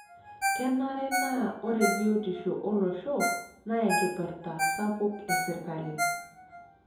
Kenare naa ore biotisho olosho naa enkipirta sapuk e serkali.